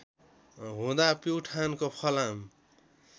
हुँदा प्युठानको फलाम